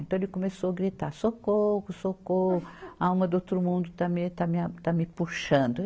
Então ele começou gritar, socorro, socorro, a alma do outro mundo está me, está me a, está me puxando.